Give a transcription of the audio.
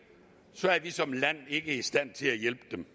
så er vi som land ikke i stand til at hjælpe dem